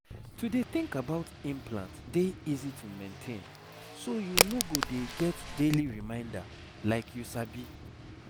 to dey think about implant dey easy to maintain so you no go dey get daily reminder like you sabi